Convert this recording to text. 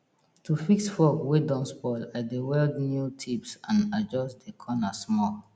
to fix fork wey don spoil i dey weld new tips and adjust de corner small